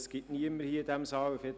Es gibt niemanden hier im Saal…